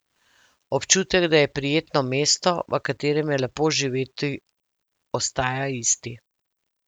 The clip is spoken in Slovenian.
Občutek, da je prijetno mesto, v katerem je lepo živeti, ostaja isti.